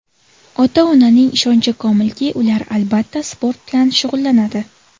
Ota-onaning ishonchi komilki, ular, albatta, sport bilan shug‘ullanadi.